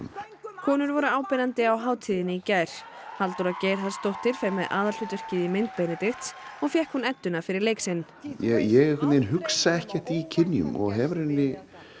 konur voru áberandi á hátíðinni í gær Halldóra Geirharðsdóttir fer með aðalhlutverkið í mynd Benedikts og fékk hún edduna fyrir leik sinn ég hugsa ekkert í kynjum og hef í raun